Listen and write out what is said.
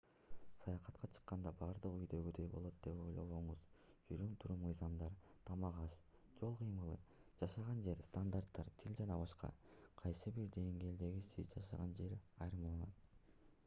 саякатка чыкканда бардыгы үйдөгүдөй болот деп ойлобоңуз жүрүм-турум мыйзамдар тамак-аш жол кыймылы жашаган жер стандарттар тил ж.б. кайсы бир деңгээлде сиз жашаган жерден айырмаланат